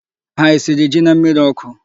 Há esiri ji na mmịrị ọkụ?